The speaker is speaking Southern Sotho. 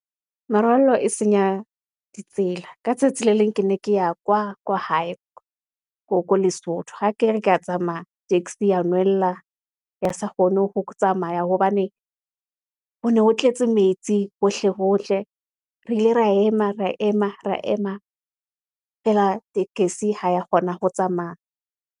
Merwallo e senya ditsela. Ka tsatsi le leng, ke ne ke ya kwa hae, ko Lesotho ha kere ke ya tsamaya taxi ya nwella, ya sa kgone ho tsamaya, hobane ho ne ho tletse metsi hohle. Re ile ra ema, feela tekesi ha ya kgona ho tsamaya.